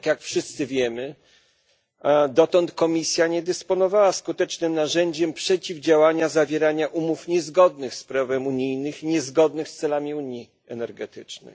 Jednak jak wszyscy wiemy, dotąd Komisja nie dysponowała skutecznym narzędziem przeciwdziałania zawieraniu umów niezgodnych z prawem unijnym, niezgodnych z celami Unii energetycznej.